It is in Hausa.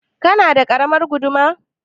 Kana da ƙaramar guduma?